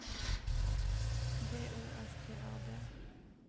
B O S T A D